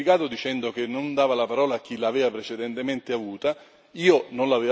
Oltretutto, si è giustificato dicendo che non dava la parola a chi l'aveva precedentemente avuta.